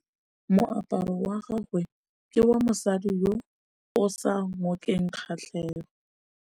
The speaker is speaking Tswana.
Moaparô wa gagwe ke wa mosadi yo o sa ngôkeng kgatlhegô.